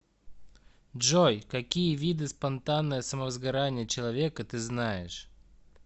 джой какие виды спонтанное самовозгорание человека ты знаешь